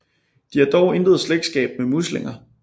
De har dog intet slægtskab med muslinger